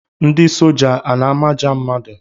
Ndị soja a na-amaja mmadụ?